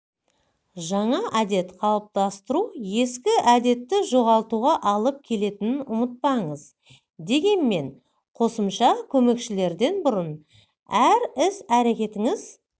жаңа әдет қалыптастыру ескі әдетті жоғалтуға алып келетінін ұмытпаңыз дегенмен қосымша көмекшілерден бұрын әр іс-әрекетіңіз